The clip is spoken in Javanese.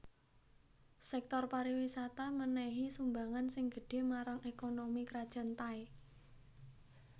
Sèktor pariwisata mènèhi sumbangan sing gedhé marang ékonomi Krajan Thai